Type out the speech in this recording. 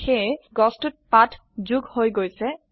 সেয়ে গছটোত পাত যোগ হৈ গৈছে160